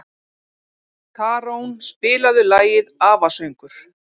Tarón, spilaðu lagið „Afasöngur“.